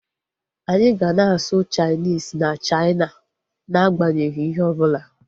Anyị ga na-asụ Chainis na Chaina na agbanyeghi ihe ọbụla